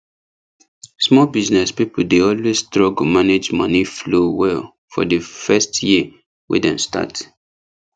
small business people dey always struggle manage money flow well for the first year wey dem start